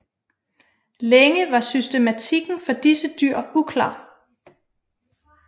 Længe var systematikken for disse dyr uklar